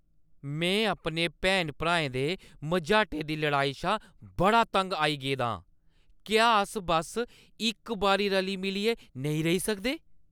में अपने भैनें-भ्राएं दे मझाटे दी लड़ाई शा बड़ी तंग आई गेदी आं। क्या अस बस्स इक बारी रली-मिलियै नेईं रेही सकदे?